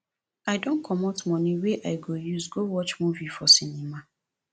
i don comot moni wey i go use go watch movie for cinema